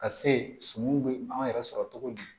Ka se sumanw bɛ an yɛrɛ sɔrɔ cogo di